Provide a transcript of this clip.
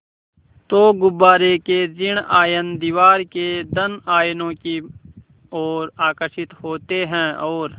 तो गुब्बारे के ॠण आयन दीवार के धन आयनों की ओर आकर्षित होते हैं और